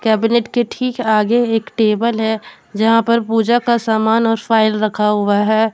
के ठीक आगे एक टेबल है जहां पर पूजा का सामान और फाइल रखा हुआ है।